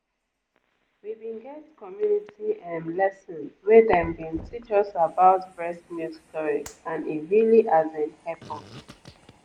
we bin get community ehm lesson where dem bin teach us about breast milk storage and e really as in hep us.